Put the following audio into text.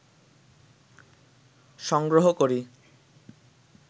সংগ্রহ করি